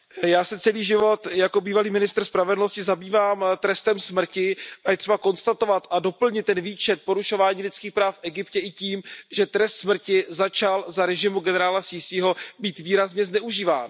Já se celý život jako bývalý ministr spravedlnosti zabývám trestem smrti a je třeba konstatovat a doplnit ten výčet porušování lidských práv v Egyptě i tím, že trest smrti začal za režimu generála Sísího být výrazně zneužíván.